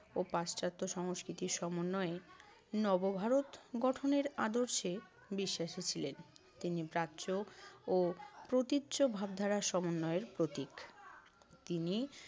ও পাশ্চাত্য সংস্কৃতির সমন্বয়ে নব ভারত গঠনের আদর্শে বিশ্বাসী ছিলেন। তিনি প্রাচ্য ও প্রতীচ্য ভাবধারার সমন্বয়ের প্রতীক তিনি